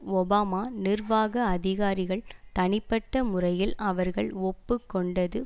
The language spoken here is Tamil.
ஒபாமா நிர்வாக அதிகாரிகள் தனிப்பட்ட முறையில் அவர்கள் ஒப்பு கொண்டது